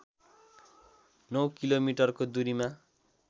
नौ किलोमिटरको दूरीमा